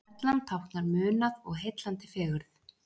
Perlan táknar munað og heillandi fegurð